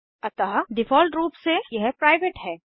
अतः डिफ़ॉल्ट रूप से यह प्राइवेट है